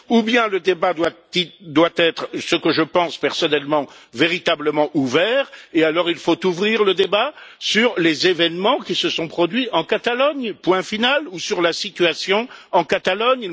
Soit le débat doit être, ce que je pense personnellement, véritablement ouvert, auquel cas il faut ouvrir le débat sur les événements qui se sont produits en Catalogne ou sur la situation en Catalogne